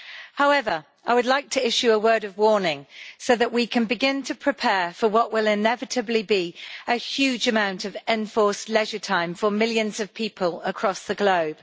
However, I would like to issue a word of warning so that we can begin to prepare for what will inevitably be a huge amount of enforced leisure time for millions of people across the globe.